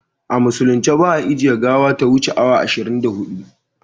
A musulunce ba a ajiye gawa ta wuce awa ishirin da hudu